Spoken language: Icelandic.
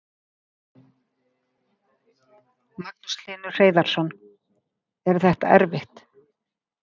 Magnús Hlynur Hreiðarsson: Er þetta erfitt?